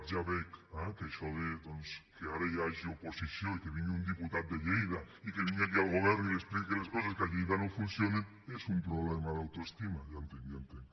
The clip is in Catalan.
ja veig eh que això de doncs que ara hi hagi oposició i que vingui un diputat de lleida i que vingui aquí al govern i li expliqui les coses que a lleida no funcionen és un problema d’autoestima ja ho entenc ja ho entenc